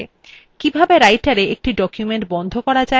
কিভাবে writera একটি document বন্ধ করা যায়